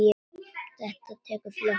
Þetta tekur fljótt af.